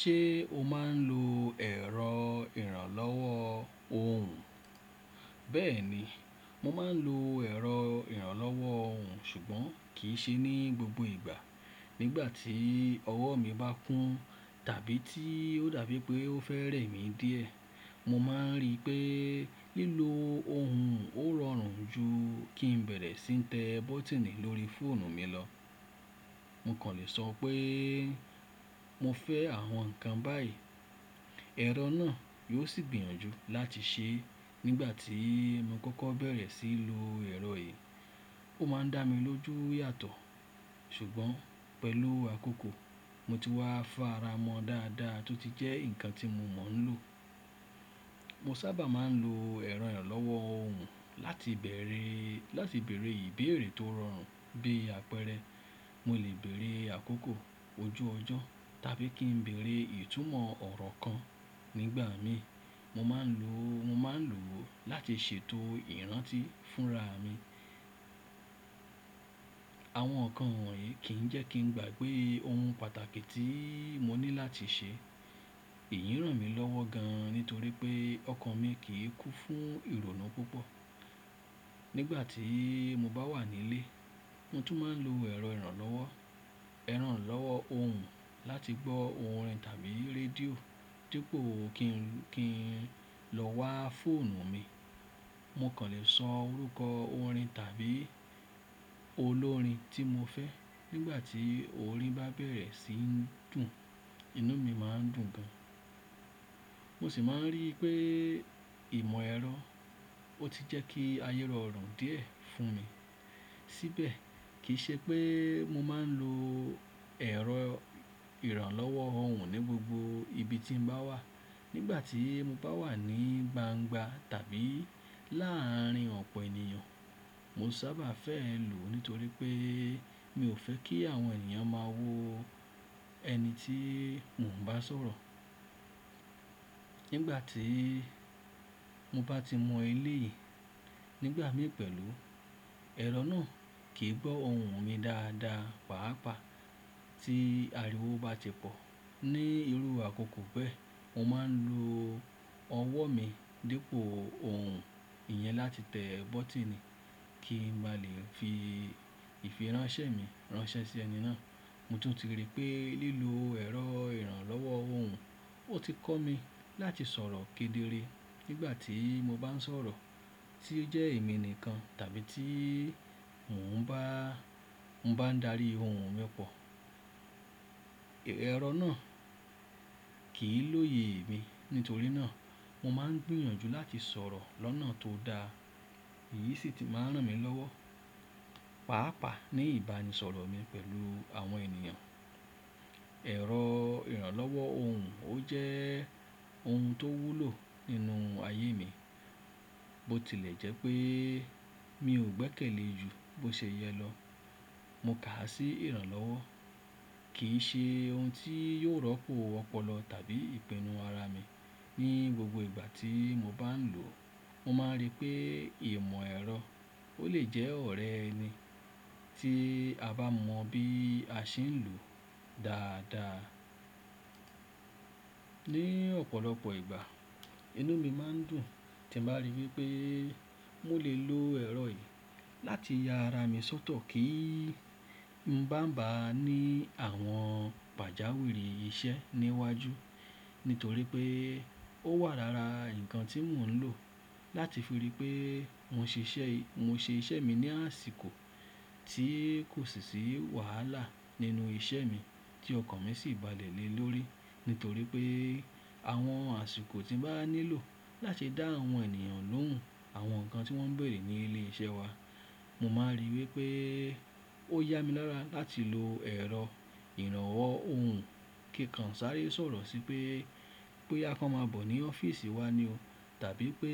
Ṣé o máa ń lo ẹ̀rọ ìrànlọ́wọ́ ohùn? Bẹ́ẹ̀ni, mo máa ń lo ẹ̀rọ ìrànlọ́wọ́ ohùn ṣùgbọ́n kì í ṣe ní gbogbo ìgbà. Nígbà tí ọwọ́ mi bá kún tàbí tí ó dàbí pé ó fẹ́ rẹ́ mi díẹ̀, mo máa ń rí pé lílo ohùn ó rọrùn ju kí n bẹ̀rẹ̀ sí í tẹ bọ́tínì lórí fóònù mi lọ. Mo kàn lè sọ pé mo fẹ́ àwọn nǹkan báyìí, ẹ̀rọ náà yóò sì gbìyànjú láti ṣé. Nígbà tí mo kọ́kọ́ bẹ̀rẹ̀ sí í lo ẹ̀rọ yìí, ó máa ń dá mi lójú yàtọ̀ ṣùgbọ́n pẹ̀lú àkókò mo ti wá fára mọ́ dáadáa tó ti jẹ́ nǹkan tí mo mọ̀ ń lò. Mo sábà máa ń lo ẹ̀rọ ìrànlọ́wọ́ ohùn láti bèrè, láti bèrè ìbéèrè tó rọrùn bí apẹ̀rẹ̀. Mo lè bèrè àkókò, ojú ọjọ́ tàbí kí n bèrè ìtumọ̀ ọ̀rọ̀ kan nígbà mi. Mo máa ń lò ó, mo máa ń lò ó láti ṣètò ìrántí fúnra mi. Àwọn nǹkan wọ̀nyí kì í jẹ́ kí n gbàgbé ohun pàtàkì tí mo ní láti ṣé. Èyí ń ràn mí lọ́wọ́ gan nítorí pé ọkàn mi kì í kú fún ìrònú púpọ̀. Nígbà tí mo bá wà nílé, mo tún máa ń lo ẹ̀rọ ìrànlọ́wọ́, ìrànlọ́wọ́ ohùn láti gbọ́ orin tàbí rédíò dípò kí n, kí n lọ wá fóònù mi. Mo kàn lè sọ orúkọ orin tàbí olórin tí mo fẹ́. Nígbà tí orin bá bẹ̀rẹ̀ sí n dùn, inú mi máa ń dùn gan. Mo sì máa ń rí pé ìmọ̀ ẹ̀rọ ó ti jẹ́ kí ayé rọrùn díẹ̀ fún mi. Síbẹ̀ kì í ṣe pé mo máa ń lo ẹ̀rọ ìrànlọ́wọ́ ohùn ní gbogbo ibi tí mo bá wà. Nígbà tí mo bá wà ní gbangba tàbí láàárin ọ̀pọ̀ ènìyàn, mo sábà fẹ́ lò ó nítorí pé mi ò fẹ́ kí àwọn ènìyàn máa wo ẹni tí mò ń bá sọ̀rọ̀. Nígbà tí mo bá ti mọ eleyìí nígbà mí pẹ̀lú, ẹ̀rọ náà kì í gbọ́ ohùn mi dáadáa. Páàpáà tí ariwo bá ṣe pọ̀ ní irú àkókò bẹ́ẹ̀, mo máa ń lo ọwọ́ mi dípò ohùn ìyẹn láti tẹ bọ́tínì kí n bá lè fi ìfiránṣẹ́ mi ránṣẹ́ sí ẹni náà. Mo tún ti rí pé lílo ẹ̀rọ ìrànlọ́wọ́ ohùn ó ti kọ́ mi láti sọ̀rọ̀ kedere nígbà tí mo bá ń sọ̀rọ̀ tí ó jẹ́ èmi nìkan tàbí tí mò ń bá, mò bá ń darí ohùn mi pọ̀. Ẹ̀rọ náà kì í lóye mi. Nítorí náà mo máa ń gbìyànjú láti sọ̀rọ̀ lọ́nà tó daa. Èyí sì ti máa ń ràn mí lọ́wọ́, pàápàá ní ìbánisọ̀rọ̀ mi pẹ̀lú àwọn ènìyàn. Ẹ̀rọ ìrànlọ́wọ́ ohùn ó jẹ́ ohun tó wúlò nínú ayé mi. Bó tilẹ̀ jẹ́ pé mi ò gbẹ́kẹ̀lé ju bó ṣe yẹ lọ, mo kà á sí ìrànlọ́wọ́. Kì í ṣe ohun tí yóò rọ́pò ọpọlọ tàbí ìpinnu ara mi ní gbogbo ìgbà tí mo bá ń lò ó. Mo máa ń rí pé ìmọ̀ ẹ̀rọ ó lè jẹ́ ọ̀rẹ́ ẹni tí a bá mọ bí a ṣe ń lò ó dáadáa. Ni ọ̀pọ̀lọpọ̀ ìgbà inú mi máa ń dùn tí mo bá rí wipé mo lè lo ẹ̀rọ yìí láti ya ara mi sọ́tọ̀ kí n má bàa ní àwọn pàjáwìrì iṣẹ́ níwájú. Nítorí pé ó wà lara nǹkan tí mò ń lò láti fi rí pé mo ṣiṣẹ́, mo ṣe iṣẹ́ mi ní àsìkò tí kò sì sí wàhálà nínú iṣẹ́ mi tí ọkàn mi sì balẹ̀ lé lórí. Nítorí pé àwọn àsìkò tí mo bá nílò láti dá àwọn ènìyàn lóhùn àwọn nǹkan tí wọ́n ń béèrè ní ilé iṣẹ́ wa, mo máa ń rí wípé ó yá mi lára láti lo ẹ̀rọ ìrànwọ́ ohùn kí n kan sáré sọ̀rọ̀ sí pé, boya kon ma bọ̀ ní ọ́fíìsì wa ni o tàbí pé